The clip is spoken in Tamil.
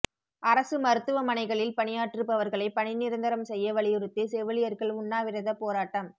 அரசு மருத்துவமனைகளில் பணியாற்றுபவர்களை பணி நிரந்தரம் செய்ய வலியுறுத்தி செவிலியர்கள் உண்ணாவிரதப் போராட்டம்